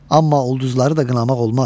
Amma ulduzları da qınamaq olmaz.